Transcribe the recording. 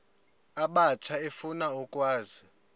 abatsha efuna ukwazi